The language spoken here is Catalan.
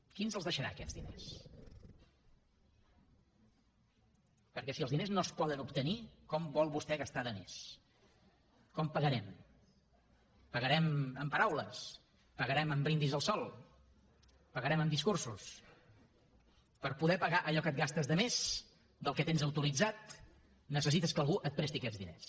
qui ens els deixarà aquests diners perquè si els diners no es poden obtenir com vol vostè gastar de més com pagarem pagarem amb paraules pagarem amb brindis al sol pagarem amb discursos per poder pagar allò que et gastes de més del que tens autoritzat necessites que algú et presti aquests diners